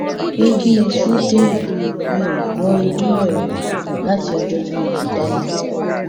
pé kí iṣu dèèyàn mi ò gbọ irú ẹ rí láti ọjọ tí mo ti dáyé